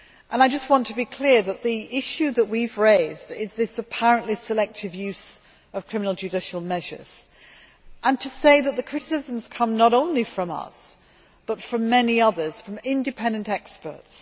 I want to be clear that the issue that we have raised is this apparently selective use of criminal judicial measures, and to say that the criticisms come not only from us but from many others, from independent experts.